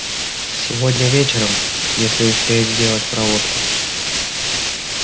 сегодня вечером если успеют сделать проводку